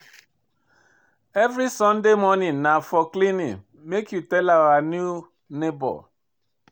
Every Saturday morning na for cleaning, make you tell our new nebor.